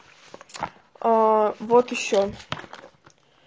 аа вот ещё